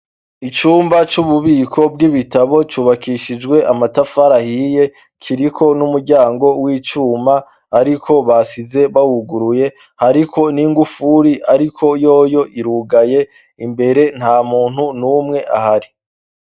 Icumba c'ububiko bw'ibitabo cubakishijwe amatafari ahiye kiriko n'umuryango w'icuma, ariko basize bawuguruye hariko n'ingufuri, ariko yoyo irugaye imbere nta muntu n'umwe ahari.